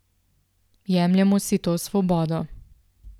Jemljemo si to svobodo.